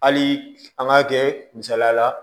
Hali an k'a kɛ misaliya la